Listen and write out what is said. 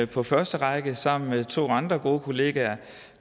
på første række sammen med to andre gode kollegaer